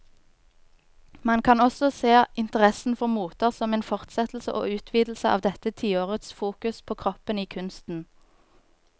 Man kan også se interessen for moter som en fortsettelse og utvidelse av dette tiårets fokus på kroppen i kunsten.